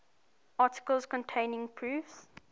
articles containing proofs